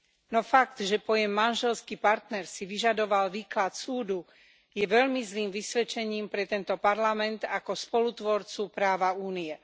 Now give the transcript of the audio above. No fakt, že pojem manželský partner si vyžadoval výklad súdu, je veľmi zlým vysvedčením pre tento parlament ako spolutvorcu práva Únie.